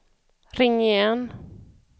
ring igen